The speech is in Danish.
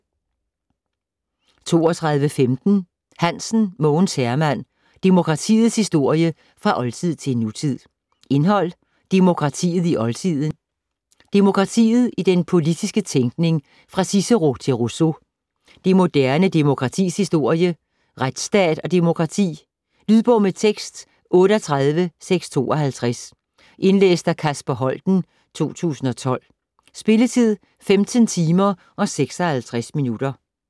32.15 Hansen, Mogens Herman: Demokratiets historie fra oldtid til nutid Indhold: Demokratiet i oldtiden ; Demokratiet i den politiske tænkning fra Cicero til Rousseau ; Det moderne demokratis historie ; Retsstat og demokrati. Lydbog med tekst 38652 Indlæst af Kasper Holten, 2012. Spilletid: 15 timer, 56 minutter.